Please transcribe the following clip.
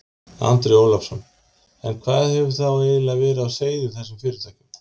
Andri Ólafsson: En hvað hefur þá eiginlega verið á seyði í þessum fyrirtækjum?